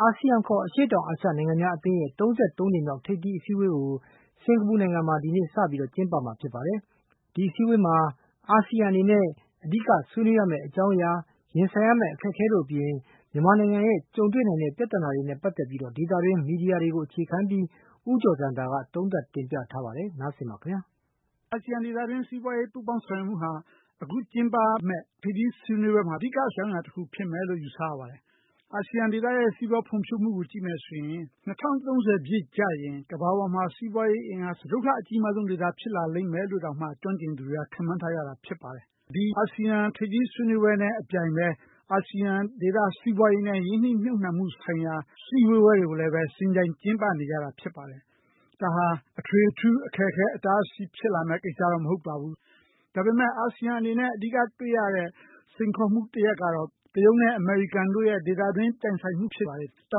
အာဆီယံ ခေါ် အရှေ့တောင်အာရှနိုင်ငံများအသင်းရဲ့ ၃၃ ကြိမ်မြောက် ထိပ်သီးအစည်းအဝေး ကို စင်ကာပူ နိုင်ငံမှာ ဒီကနေ့ စတင်ပါလိမ့်မယ်။ ဒီအစည်းအဝေးမှာ အာဆီယံအနေနဲ့ အဓိကဆွေးနွေးရမယ့် အကြောင်းအရာ၊ ရင်ဆိုင်ရမယ့် အခက်အခဲတို့အပြင် မြန်မာနိုင်ငံရဲ့ ကြုံတွေ့နိုင်တဲ့ပြဿနာတွေနဲ့ ပတ်သက် ပြီးတော့ ဒေသတွင်း မီဒီယာတွေကို အခြေခံပြီး ဦးကျော်ဇံသာက သုံးသပ်တင်ပြထားပါတယ်။ အာဆီယံဒေသတွင်း ပူးပေါင်းဆောင်ရွက်မှုဟာ အခုကျင်းပမယ့် ထိပ်သီးဆွေးနွေးပွဲမှာ အဓိက ဆွေးနွေးမယ့် အကြောင်းအရာတခုဖြစ်မယ်လို့ ယူဆရပါတယ်။ အာဆီယံဒေသရဲ့ စီးပွားဖွံ့ဖြိုးမှုကို ကြည့်မယ်ဆိုရင် ၂၀၃၀ ပြည့်ကျရင် ကမ္ဘာပေါ်မှာ စီးပွားရေးအင်အား စတုတ္ထအကြီးမားဆုံးဒေသ ဖြစ်လာလိမ့်မယ်လို့တောင်မှ ကျွမ်းကျင်သူတွေက ခန့်မှန်းထားကြတာဖြစ်ပါတယ်။ ဒီအာဆီယံထိပ်သီးဆွေးနွေးပွဲနဲ့အပြိုင်ပဲ အာဆီယံဒေသ စီးပွားရေးနဲ့ ရင်းနှီးမြှုပ်နှံမှုဆိုင်ရာ စည်းဝေးပွဲတွေကိုလည်း ယှဉ်ပြိုင်ကျင်းပနေကြတာ ဖြစ်ပါတယ်။ ဒါဟာ အထွေအထူး အခက်အခဲဖြစ်လာမယ့် ကိစ္စတော့ မဟုတ်ပါဘူး။ ဒါပေမယ့် အာဆီယံအနေနဲ့ အဓိကတွေ့ရတဲ့ စိန်ခေါ်မှုတရပ်ကတော့ တရုတ်နဲ့အမေရိကန်တို့ရဲ့ ဒေသတွင်း ပြိုင်ဆိုင်မှုဖြစ်ပါတယ်။ တော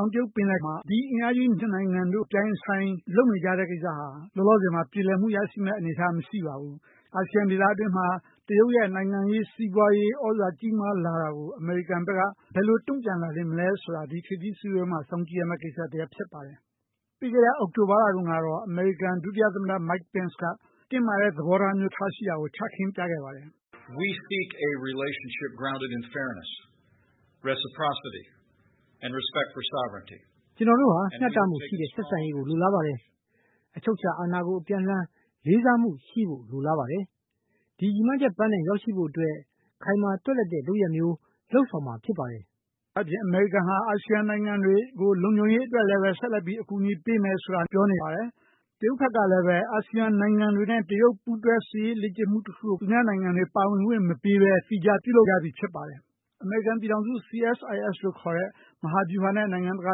င်တရုတ်ပင်လယ်မှာ ဒီအင်အားကြီးနှစ်နိုင်ငံတို့ အပြိုင်အဆိုင် လုပ်နေကြတဲ့ ကိစ္စဟာ လောလောဆယ်မှာ ပြေလည်မှုရရှိမယ့်အနေအထား မရှိပါဘူး။ အာဆီယံဒေသတွင်းမှာ တရုတ်ရဲ့ နိုင်ငံရေး၊ စီးပွားရေး သြဇာကြီးမားလာတာကို အမေရိကန်ဘက်က ဘယ်လို တုံ့ပြန်လာလေမလဲဆိုတာ ဒီထိပ်သီးစည်းဝေးပွဲမှာ စောင့်ကြည့်ရမယ့် ကိစ္စတရပ်ဖြစ်ပါတယ်။ ပြီးခဲ့တဲ့အောက်တိုဘာလတုန်းကတော့ အမေရိကန် ဒုတိယသမ္မတ Mike Pence က တင်းမာတဲ့သဘောထား မျိုး ထားရှိတာကို ချခင်းပြခဲ့ပါတယ်။ “ကျနော်တို့ဟာ မျှတမှုရှိတဲ့ဆက်ဆံရေးကို လိုလားပါတယ်။ အချုပ်အခြာအာဏာကို အပြန်အလှန် လေးစားမှု ရှိဖို့လိုလားပါတယ်။ ဒီရည်မှန်းချက်ပန်းတိုင် ရောက်ရှိဖို့အတွက် ခိုင်မာသွက်လက်တဲ့လုပ်ရပ်မျိုး လုပ်ဆောင်မှာ ဖြစ်ပါတယ်။” ဒါ့အပြင် အမေရိကန်ဟာ အာဆီယံနိုင်ငံတွေကို လုံခြုံရေးအတွက်လည်းပဲ ဆက်လက်ပြီး အကူအညီပေးမယ် ဆိုတာ ပြောနေပါတယ်။ တရုတ်ဘက်ကလည်း အာဆီယံနိုင်ငံတွေနဲ့ တရုတ် ပူးတွဲစစ်ရေးလေ့ကျင့်မှုတခုကို သူများနိုင်ငံတွေ ပါဝင်ခွင့်မပေးဘဲ သီးခြား ပြုလုပ်ထားပြီးဖြစ်ပါတယ်။ အမေရိကန်ပြည်ထောင်စု CSIS လို့ခေါ်တဲ့ မဟာဗျူဟာနဲ့ နိုင်ငံတကာ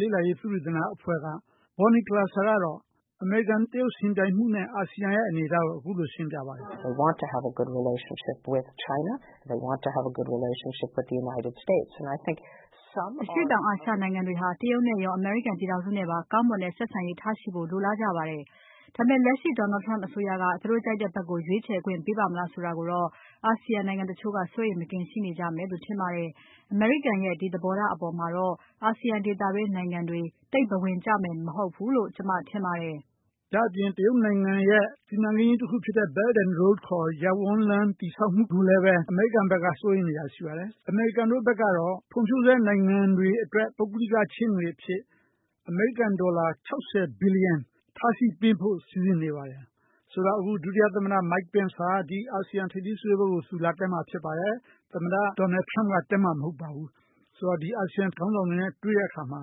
လေ့လာရေး သုတေသန အဖွဲ့က Bonnie Glaser ကတော့ အမေရိကန်-တရုတ် ယှဉ်ပြိုင်မှုနဲ့ အာဆီယံရဲ့အနေအထားကို အခုလို ရှင်းပြပါတယ်။ “အရှေ့တောင်အာရှနိုင်ငံတွေဟာ တရုတ်နဲ့ရော အမေရိကန်ပြည်ထောင်စုနဲ့ပါ ကောင်းမွန်တဲ့ဆက်ဆံရေး ထားရှိဖို့ လိုလားကြပါတယ်။ ဒါပေမယ့် လက်ရှိ ဒေါ်နယ်ထရမ့်အစိုးရက သူတို့ကြိုက်တဲ့ဘက်ကို ရွေးချယ်ခွင့် ပေးပါ့မလားဆိုတာကိုတော့ အာဆီယံနိုင်ငံတချို့က စိုးရိမ်မကင်းရှိနေကြမယ်လို့ ထင်ပါတယ်။ အမေရိကန်ရဲ့ ဒီသဘောထားအပေါ်မှာတော့ အာဆီယံဒေသတွင်းနိုင်ငံတွေ သိပ်ဘဝင်ကျမယ်မဟုတ်ဘူးလို့ ကျမ ထင်ပါတယ်။” ဒါ့အပြင် တရုတ်နိုင်ငံရဲ့ စီမံကိန်းကြီးတခုဖြစ်တဲ့ Belt and Road ရပ်ဝန်းလမ်း တည်ဆောက်မှုကိုလည်း အမေရိကန်ဘက်က စိုးရိမ်နေတာရှိပါတယ်။ အမေရိကန်တို့ဘက်ကတော့ ဖွံ့ဖြိုးဆဲနိုင်ငံတွေအတွက် ပုဂ္ဂလိကချေးငွေအဖြစ် အမေရိကန်ဒေါ်လာ ၆၀ ဘီလီယံ ထားရှိပေးဖို့ စီစဉ်နေပါတယ်။ ဆိုတော့ အခု ဒုတိယသမ္မတ Mike Pence ဟာ ဒီ အာဆီယံထိပ်သီးစည်းဝေးပွဲကို သူလာတက်မှာဖြစ်ပါတယ်။ သမ္မတ ဒေါ်နယ်ထရမ့်က တက်မှာမဟုတ်ပါဘူး။ ဆိုတော့ ဒီ အာဆီယံခေါင်းဆောင်တွေနဲ့ တွေ့တဲ့အခါမှာ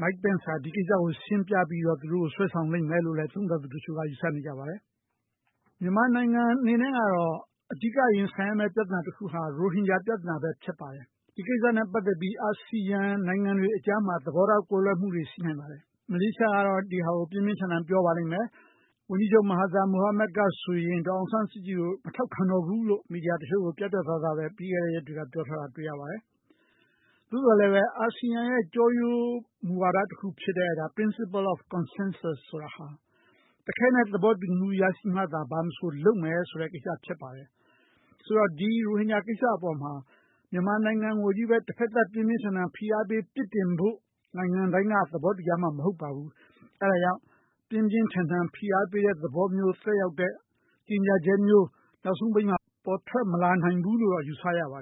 Mike Pence က ဒီကိစ္စကိုရှင်းပြပြီးတော့ သူတို့ကို ဆွဲဆောင်လိမ့်မယ်လို့လည်း သုံးသပ်သူတချို့က ယူဆနေကြပါတယ်။ မြန်မာနိုင်ငံအနေနဲ့ကတော့ အဓိကရင်ဆိုင်ရမယ့် ပြဿနာတခုဟာ ရိုဟင်ဂျာ ပြဿနာပဲဖြစ်ပါတယ်။ ဒီကိစ္စနဲ့ ပတ်သက်ပြီး အာဆီယံနိုင်ငံတွေအကြားမှာ သဘောထားကွဲလွဲမှုတွေ ရှိနိုင်ပါတယ်။ မလေးရှားကတော့ ဒီဟာ ကို ပြင်းပြင်းထန်ထန် ပြောပါလိမ့်မယ်။ ဝန်ကြီးချုပ် မဟာသီယာ မိုဟာမက်ကဆိုရင် ဒေါ်အောင်ဆန်းစုကြည်ကို မထောက်ခံတော့ဘူးလို့ မီဒီယာတချို့ကို ပြတ်ပြတ်သားသားပဲ ပြီးခဲ့တဲ့ရက်တွေက ပြောထားတာ တွေ့ရပါ တယ်။ သို့သော်လည်းပဲ အာဆီယံရဲ့ ကျောရိုးမူဝါဒတခုဖြစ်တဲ့ Principal of consensus ဆိုတာဟာ တခဲနက် သဘောတူညီမှုရရှိမှသာ ဘာမဆိုလုပ်မယ်ဆိုတဲ့ ကိစ္စဖြစ်ပါတယ်။ ဆိုတော့ ဒီ ရိုဟင်ဂျာကိစ္စအပေါ်မှာ မြန်မာနိုင်ငံကိုချည့်ပဲ တဖက်သတ် ပြင်းပြင်းထန်ထန်ဖိအားပေး ပြစ်တင်ဖို့ နိုင်ငံတိုင်းက သဘောတူကြမှာ မဟုတ်ပါဘူး။ အဲဒါကြောင့် ပြင်းပြင်းထန်ထန် ဖိအားပေးတဲ့သဘောမျိုး သက်ရောက်တဲ့ ကြေညာချက်မျိုး နောက်ဆုံးပိတ်မှာ ပေါ်ထွက်မလာနိုင်ဘူးလို့တော့ ယူဆရပါ